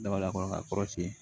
Daba kɔnɔ k'a kɔrɔsi